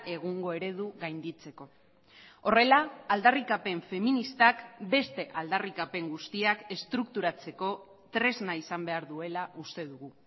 egungo eredu gainditzeko horrela aldarrikapen feministak beste aldarrikapen guztiak estrukturatzeko tresna izan behar duela uste dugu